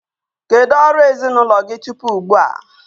Kedu ọrụ ezinụlọ gị tupu ugbu a?